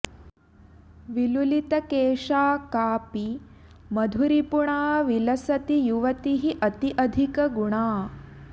विलुलित केशा कापि मधुरिपुणा विलसति युवतिः अति अधिक गुणा